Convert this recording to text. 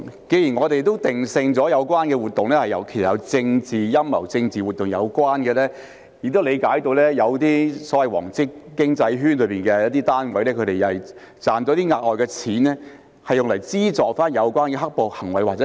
既然我們也定性了有關活動其實是有政治陰謀，與政治活動有關，亦理解到有些所謂"黃色經濟圈"的單位賺到額外的錢後，會用作資助有關"黑暴"行為或後果。